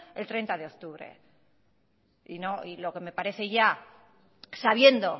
el treinta de octubre y lo que me parece ya sabiendo